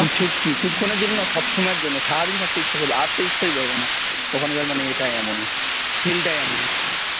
কিছু কিছুক্ষণের জন্য নয় সবসময়ের জন্য সারাদিন থাকতে ইচ্ছা করবে আসতে ইচ্ছাই করবেনা ওখানকার ইয়েটাই এমন feel টাই এমন